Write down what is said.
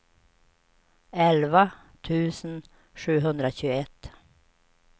elva tusen sjuhundratjugoett